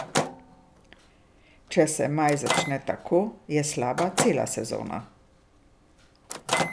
Če se maj začne tako, je slaba cela sezona.